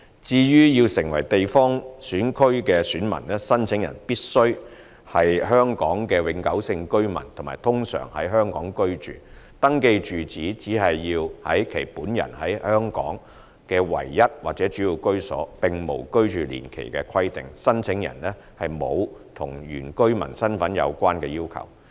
至於要成為地方選區選民，申請人必須是香港永久性居民和通常在香港居住，登記住址只要是其本人在香港的唯一或主要居所，並無居住年期的規定，申請人亦沒有與原居民身份有關的要求。